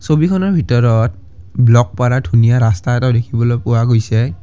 ছবিখনৰ ভিতৰত ব্লক পাৰা এটা ধুনীয়া ৰাস্তা দেখিবলৈ পোৱা গৈছে।